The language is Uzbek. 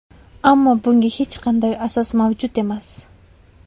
Ammo bunga hech qanday asos mavjud emas.